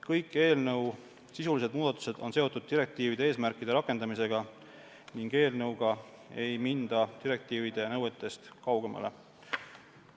Kõik eelnõu sisulised muudatused on seotud direktiivide eesmärkide rakendamisega ning eelnõuga ei minda direktiivide nõuetest kaugemale.